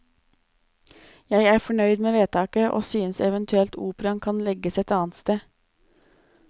Jeg er fornøyd med vedtaket, og synes eventuelt operaen kan legges et annet sted.